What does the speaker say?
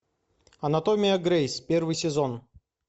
анатомия грейс первый сезон